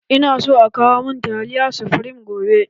Ina so a kawo mun taliyan sufreme gobe